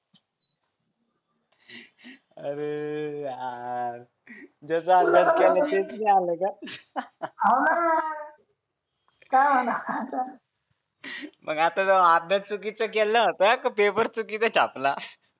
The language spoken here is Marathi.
अरे यार जसा अभ्यास केला तेच नाय आलं का आलं ना काय होणार आता मग आता अभ्यास चुकीचा केला होता का पेपर चुकीचा छापला